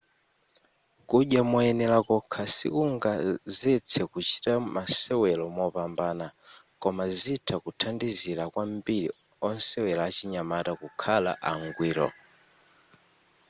kudya moyenela kokha sikungazetse kuchita masewelo mopambana koma zitha kuthandizila kwambiri osewela achinyamata kukhala angwiro